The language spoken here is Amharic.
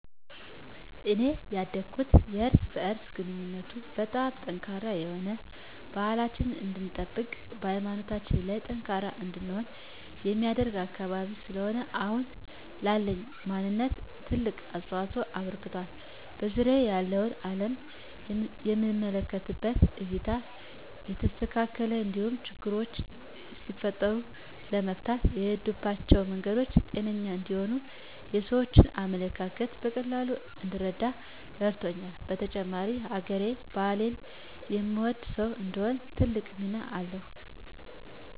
እኔ ያደኩት የእርስ በእርስ ግንኙነቱ በጣም ጠንካራ የሆነ፣ ባህላችንን እንድንጠብቅ ሀይማኖታችን ላይ ጠንካራ እንድንሆን የሚያደርግ አካባቢ ስለሆነ አሁን ላለኝ ማንነት ትልቅ አስተዋፅኦ አበርክቷል። በዙሪያየ ያለውን አለም የምመለከትበት እይታ የተስተካከለ እንዲሆን፣ ችግሮች ሲፈጠሩ ለመፍታት የምሄድባቸው መንገዶች ጤነኛ እንዲሆኑ፣ የሰዎችን አመለካከት በቀላሉ እንድረዳ ረድቶኛል። በተጨማሪም ሀገሬን፣ ባህሌን የምወድ ሰው እንድሆን ትልቅ ሚና አለዉ።